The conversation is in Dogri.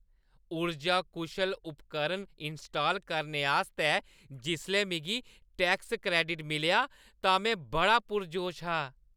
ऊर्जा-कुशल उपकरण इनस्टाल करने आस्तै जिसलै मिगी टैक्स क्रैडिट मिलेआ तां में बड़ा पुरजोश हा।